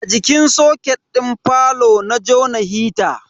A jikin soket din falo na jona hita.